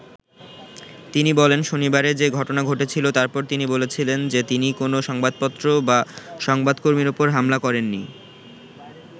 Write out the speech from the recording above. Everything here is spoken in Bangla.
তিনি বলেন, “শনিবারে যে ঘটনা ঘটেছিল তারপর তিনি বলেছিলেন যে তিনি কোনও সংবাপত্র বা সংবাদকর্মীর ওপর হামলা করেননি।